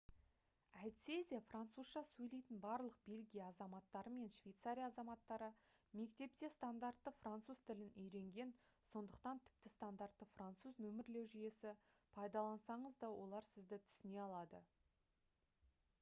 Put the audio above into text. әйтсе де французша сөйлейтін барлық бельгия азаматтары мен швейцария азаматтары мектепте стандартты француз тілін үйренген сондықтан тіпті стандартты француз нөмірлеу жүйесі пайдалансаңыз да олар сізді түсіне алады